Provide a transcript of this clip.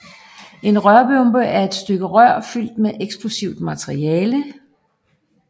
En rørbombe er et stykke rør fyldt med et eksplosivt materiale